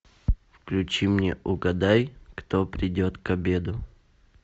включи мне угадай кто придет к обеду